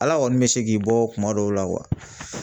Ala kɔni mi se k'i bɔ kuma dɔw la